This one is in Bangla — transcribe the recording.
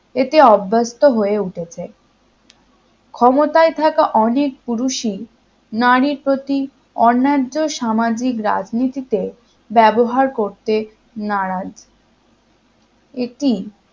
এতে অভ্যস্ত হয়ে উঠেছে ক্ষমতায় থাকা অনেক পুরুষই নারীর প্রতি অন্যায্য সামাজিক রাজনীতিতে ব্যবহার করতে নারাজ এটি